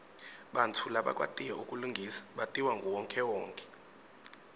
bantfu labakwatiko kulingisa batiwa nguwonkhewonkhe